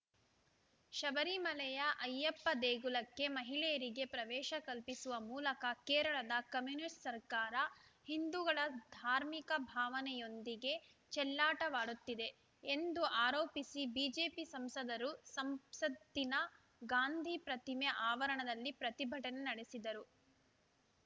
ಶಬರಿಮಲೆಯ ಅಯ್ಯಪ್ಪ ದೇಗುಲಕ್ಕೆ ಮಹಿಳೆಯರಿಗೆ ಪ್ರವೇಶ ಕಲ್ಪಿಸುವ ಮೂಲಕ ಕೇರಳದ ಕಮ್ಯುನಿಸ್ಟ್‌ ಸರ್ಕಾರ ಹಿಂದೂಗಳ ಧಾರ್ಮಿಕ ಭಾವನೆಯೊಂದಿಗೆ ಚೆಲ್ಲಾಟವಾಡುತ್ತಿದೆ ಎಂದು ಆರೋಪಿಸಿ ಬಿಜೆಪಿ ಸಂಸದರು ಸಂಸತ್ತಿನ ಗಾಂಧಿ ಪ್ರತಿಮೆ ಆವರಣದಲ್ಲಿ ಪ್ರತಿಭಟನೆ ನಡೆಸಿದರು